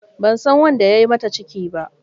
Ban san wanda ya yi mata ciki ba.